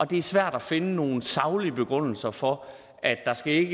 det er svært at finde nogle saglige begrundelser for at der skal